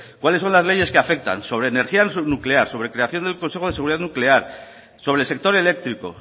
cuáles son las leyes que afectan sobre energía nuclear sobre creación del consejo de seguridad nuclear sobre el sector eléctrico